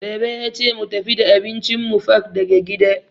Baba yace mu tafi da abincin mu fak daga gida.